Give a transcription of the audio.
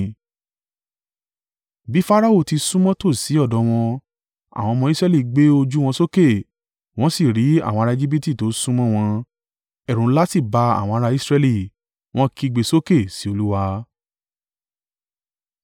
Bí Farao ti súnmọ́ tòsí ọ̀dọ̀ wọn, àwọn ọmọ Israẹli gbé ojú wọn sókè, wọn sì rí àwọn ará Ejibiti tó súnmọ́ wọn. Ẹ̀rù ńlá sì bá àwọn ará Israẹli, wọ́n kígbe sókè sí Olúwa.